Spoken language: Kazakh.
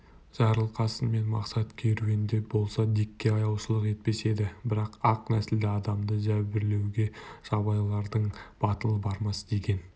жарылқасын мен мақсат керуенде болса дикке аяушылық етпес еді бірақ ақ нәсілді адамды зәбірлеуге жабайылардың батылы бармас деген